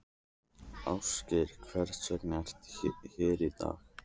Ásgeir: Hvers vegna ert þú hér í dag?